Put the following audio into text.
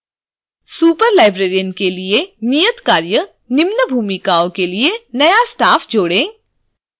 superlibrarian के लिए नियतकार्य निम्न भूमिकाओँ के लिए नया staff जोड़ें